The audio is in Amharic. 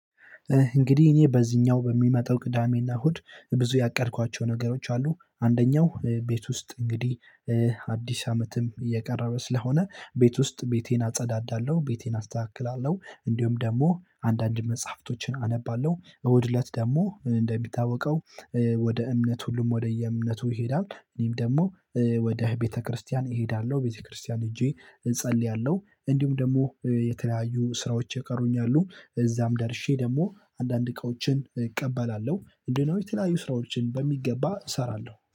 እንግዲህ እኔ በዚህኛው በሚመጣው ቅዳሜና እሁድ ብዙ ያቀድኳቸው ነገሮች አሉ አንደኛው ቤት ውስጥ እንግዲህ አዲስ አመትም እየቀረበ ስለሆነ ቤት ውስጥ ቤቴን አጸዳዳለሁ ቤቴን አስተካክላለሁ እንዲሁም ደግሞ አንዳንድ መጽሐፍቶችን አነባለሁ እሁድ እለት ደግሞ እንደሚታወቀው ወደ እምነት ሁሉም ወደየ እምነቱ ይሄዳል እኔም ደግሞ ውደ ቤተ ክርስቲያን እሄዳለው። ቤተ ክርስቲያን ሄጄ እጸልያለሁ። እነዲሁም ደግሞ የተለያዩ ስራዎች የቀሩኝ አሉ እዛም ደርሼ ደግሞ አንድ አንድ እቃዎችን እቀበላለሁ ምንድ ነው የተለያዩ ስራዎችን በሚገባ እሰራለሁ